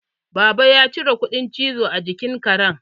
Baba ya cire kuɗan cizo a jikin Karen